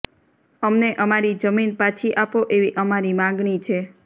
અમને અમારી જમીન પાછી આપો એવી અમારી માગણી છે